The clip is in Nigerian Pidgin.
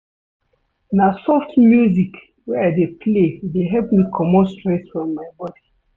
Na soft music wey I dey play dey help me comot stress from my bodi.